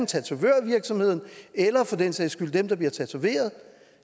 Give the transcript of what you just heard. tatovørvirksomheden eller for den sags skyld dem der bliver tatoveret